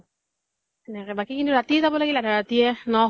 সেনেকে । বাকী ৰাতি যাব লাগিল, আধা ৰাতিয়ে । ন